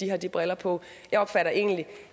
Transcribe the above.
har de briller på jeg opfatter egentlig